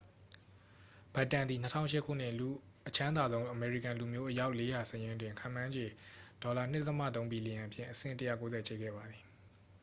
ဘက်တန်သည် 2008 ခုနှစ် အချမ်းသာဆုံးအမေရိကန်လူမျိုး အယောက် 400 စာရင်းတွင် ခန့်မှန်းခြေ $2.3 ဘီလီယံဖြင့် အဆင့် 190 ချိတ်ခဲ့ပါသည်